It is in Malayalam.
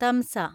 തംസ